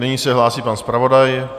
Nyní se hlásí pan zpravodaj.